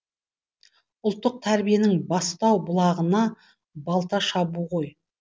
ұлттық тәрбиенің бастау бұлағына балта шабу ғой